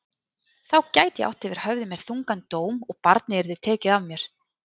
Þá gæti ég átt yfir höfði mér þungan dóm og barnið yrði tekið af mér.